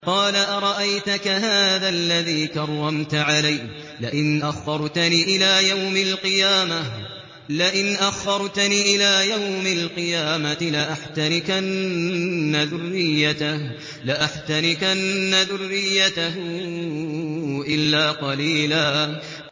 قَالَ أَرَأَيْتَكَ هَٰذَا الَّذِي كَرَّمْتَ عَلَيَّ لَئِنْ أَخَّرْتَنِ إِلَىٰ يَوْمِ الْقِيَامَةِ لَأَحْتَنِكَنَّ ذُرِّيَّتَهُ إِلَّا قَلِيلًا